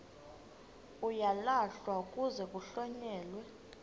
uyalahlwa kuze kuhlonyelwe